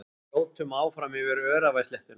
Við þjótum áfram yfir öræfasléttuna.